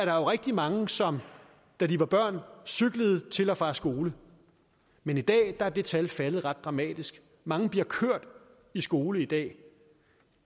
er rigtig mange som da de var børn cyklede til og fra skole men i dag er det tal faldet ret dramatisk mange bliver kørt i skole i dag